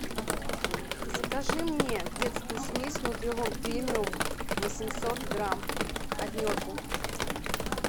закажи мне детскую смесь нутрилон премиум восемьсот грамм однерку